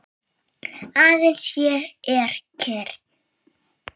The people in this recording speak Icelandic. Aðeins ég er kyrr.